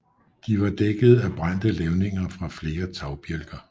De var dækkede af brændte levninger fra flere tagbjælker